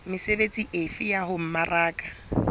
mesebetsi efe ya ho mmaraka